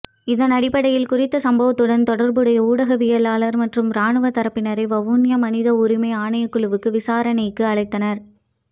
இதனடிப்படையில் குறித்த சம்பவத்துடன் தொடர்புடைய ஊடகவியலாளர் மற்றும் இராணுவ தரப்பினரை வவுனியா மனித உரிமை ஆணைக்குழுவுக்கு விசாரணைக்கு அழைத்திருந்தனர்